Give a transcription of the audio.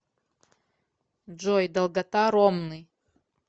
джой долгота ромны